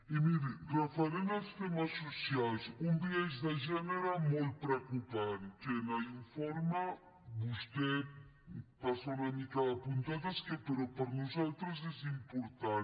i miri referent als temes socials un biaix de gènere molt preocupant que en l’informe vostè hi passa una mica de puntetes però que per nosaltres és important